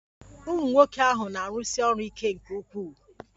Ụmunwoke ahụ na-arụsi ọrụ ike nke ukwuu.